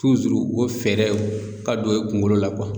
tuzuru o fɛɛrɛw ka don e kungolo la kuwa